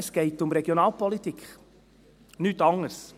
Es geht um Regionalpolitik, um nichts anderes.